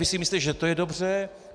Vy si myslíte, že to je dobře.